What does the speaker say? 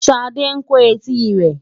Ṣadé ń kó etí rẹ̀.